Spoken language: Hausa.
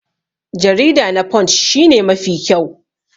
Jarida na punch shi ne Mafi kyau.